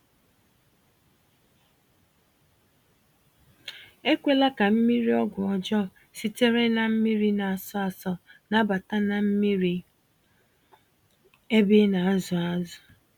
Ekwela ka mmiri-ọgwụ ọjọ sitere na mmírí na-asọ asọ, nabata na mmiri ébé ịnazụ ázụ̀